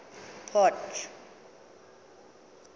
port